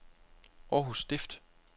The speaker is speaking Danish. Århus Stift